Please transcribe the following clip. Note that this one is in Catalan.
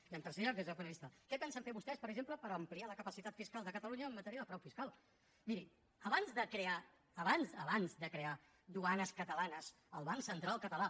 i en tercer lloc des del meu punt de vista què pensen fer vostès per exemple per ampliar la capacitat fiscal de catalunya en matèria de frau fiscal miri abans de crear abans abans de crear duanes catalanes el banc central català